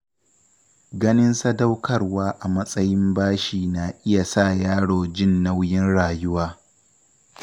Ganin sadaukarwa a matsayin bashi na iya sa yaro jin nauyin rayuwa.